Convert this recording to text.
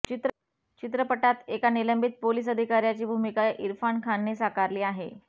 चित्रपटात एका निलंबित पोलिस अधिकाऱ्याची भूमिका इरफान खानने साकारली आहे